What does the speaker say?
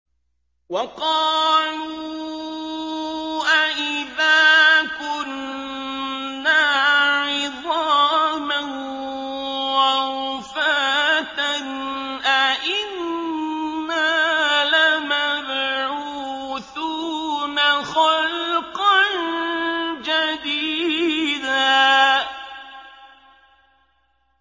وَقَالُوا أَإِذَا كُنَّا عِظَامًا وَرُفَاتًا أَإِنَّا لَمَبْعُوثُونَ خَلْقًا جَدِيدًا